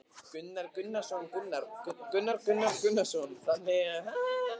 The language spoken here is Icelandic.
Gunnar Atli Gunnarsson: Þannig að fólk hefur metnað fyrir þessu?